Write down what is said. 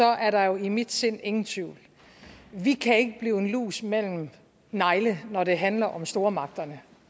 er der er i mit sind jo ingen tvivl vi kan ikke blive en lus mellem to negle når det handler om stormagterne